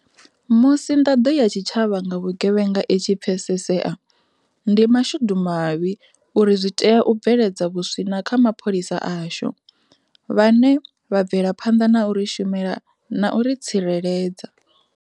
Musi nḓaḓo ya tshi tshavha nga vhu gevhenga i tshi pfesesea, ndi mashudumavhi uri zwi tea u bveledza vhuswina kha mapholisa ashu, vhane vha bvelaphanḓa na u ri shumela na u ri tsireledza.